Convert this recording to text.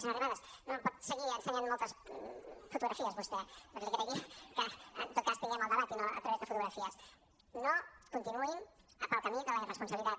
senyora arrimadas no em pot seguir ensenyant moltes fotografies vostè però li agrairia que en tot cas tinguem el debat i no a través de fotografies no continuïn pel camí de la irresponsabilitat